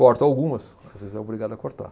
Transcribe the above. Corto algumas, às vezes é obrigado a cortar.